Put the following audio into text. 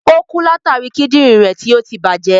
Ò kú látàri Kídìnrín rẹ̀ tí ọtí tí bàjẹ́.